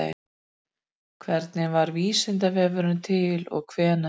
Hvernig varð Vísindavefurinn til og hvenær?